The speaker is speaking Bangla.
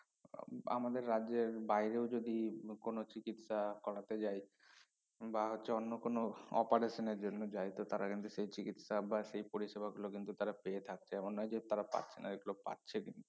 উম আমাদের রাজ্যের বাইরেও যদি কোনো চিকিৎসা করাতে যায় বা হচ্ছে অন্য কোনো operation এর জন্য যায় তো তারা কিন্তু সেই চিকিৎসা বা সেই পরিসেবা গুলো কিন্তু তারা পেয়ে থাকছে এমন নয় যে তারা পাচ্ছে না এগুলো পাচ্ছে কিন্তু